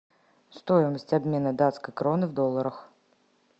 стоимость обмена датской кроны в долларах